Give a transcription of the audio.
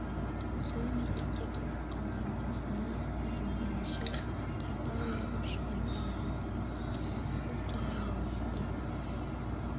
сол мезетте кетіп қалған досына деген реніші қайта оянып шыға келіп еді осы қыз туралы оттады